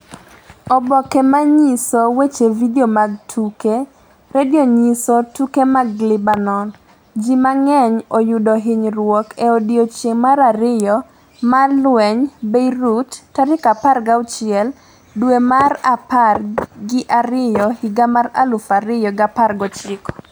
Oboke Manyiso Oboke Weche Vidio mag Tuke Redio Nyiso Tuke mag Lebanon: Ji mang'eny oyudo hinyruok e odiechieng' mar ariyo mar lweny Beirut 16 dwe mar apar gi ariyo higa mar 2019